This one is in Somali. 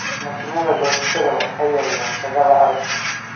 Mashiinnada goosashada waxay yareeyaan shaqada adag.